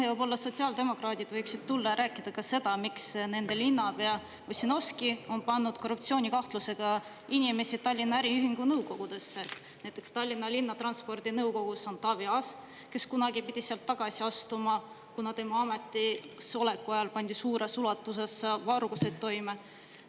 Ja võib-olla sotsiaaldemokraadid võiksid tulla ja rääkida ka seda, miks nende linnapea Ossinovski on pannud korruptsioonikahtlusega inimesi Tallinna äriühingu nõukogudesse, näiteks Tallinna Linnatranspordi nõukogus on Taavi Aas, kes kunagi pidi sealt tagasi astuma, kuna tema ametisoleku ajal pandi suures ulatuses varguseid toime.